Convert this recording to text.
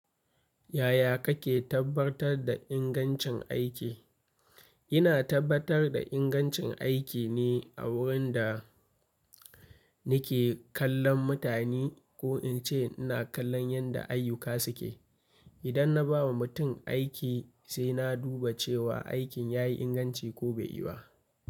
Yaya kake tabbatar da ingancin aiki? Ina tabbatar da ingancin aiki ne a wurin da nake kallon mutane ko in ce ina kallon yandda ayyuka suke. Idan na ba wa mutum aiki sai na duba cewa aikin ya yi inganci ko bai yi ba.